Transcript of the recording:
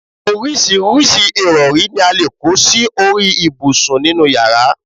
oríṣiríṣi ìrọ̀rí ni a lè kó sí orí ibùsùn nínú yàrá